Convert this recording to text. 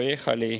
, Poehali!